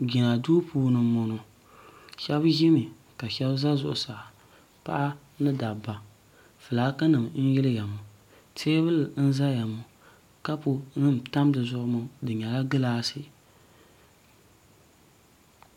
jina do puuni n bɔŋɔ shɛbi ʒɛmi shɛbi za zuɣ' saa paɣ' ni da ba ƒɔlaki nim n yiliya ŋɔ tɛbuli n zaya ŋɔ kapu na tam di zuɣ' ŋɔ di nyɛla gilaasi